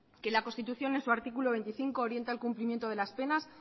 que la constitución en su artículo veinticinco orienta el cumplimiento de las penas